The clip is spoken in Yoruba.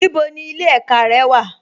Níbo ni ilẹ̀ ẹ̀kà rẹ wà?